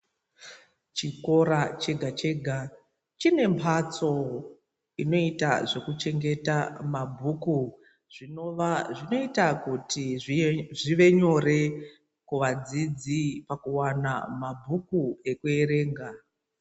Chikora chega choge chine mbatso inoita zvokuchengeta mabhuku zvinova zvinoita zvive nyore kuvadzidzi pakuwana mabhuku kuverenga.